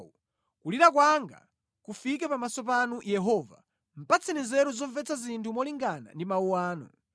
Kulira kwanga kufike pamaso panu Yehova; patseni nzeru zomvetsa zinthu molingana ndi mawu anu.